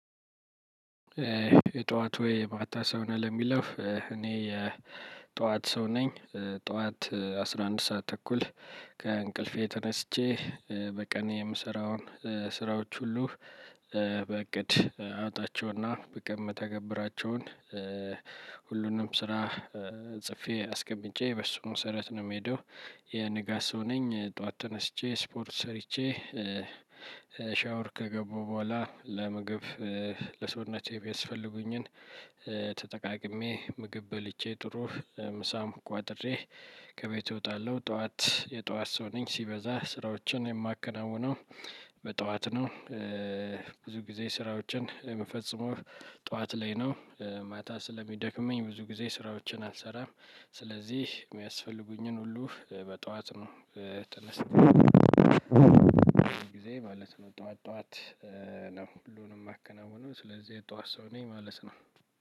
የጧት ወይ የማታ ሰው ነህ? ለሚለው እኔ የጧት ሰው ነኝ። ጧት አስራ አንድ ሰዓት ተኩል ከእንቅልፌ ተነስቼ በቀን የምሰራውን ስራዎች ሁሉ። በእቅድ አወጣቸውና በቀን ምተገብራቸውን ሁሉንም ስራ ጽፌ አስቀምጬ በሱ መሰረት ነው የምሄደው። የንጋት ሰው ነኝ ጠዋት ተነስቼ ስፖርት ሰርቼ። ሻወር ከገባሁ በኋላ ለምግብ ለሰውነቴ የሚያስፈልጉኝን ተጠቃቅሜ ምግብ በልቼ ጥሩ ምሳም ቋጥሬ ከቤት እወጣለሁ። ጠዋት የጠዋት ሰው ነኝ። ሲበዛ ስራዎችን የማከናውነው በጠዋት ነው። ብዙ ጊዜ ስራዎችን የምፈጽመው ጠዋት ላይ ነው። ማታ ስለሚደክመኝ ብዙ ጊዜ ስራዎችን አልሰራም። ስለዚህ የሚያስፈልጉኝን ሁሉ በጠዋት ነው። ተነስቼ በጊዜ ማለት ነው ጠዋት ጠዋት ነው ሁሉንም የማከናውነው ስለዚህ የጠዋት ሰው ነኝ ማለት ነው።